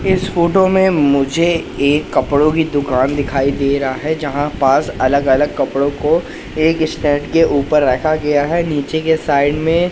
इस फोटो में मुझे एक कपड़ों की दुकान दिखाई दे रहा है जहां पास अलग अलग कपड़ों को एक स्टैंड के ऊपर रखा गया है नीचे के साइड में--